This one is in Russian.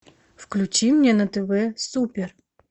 включи мне на тв супер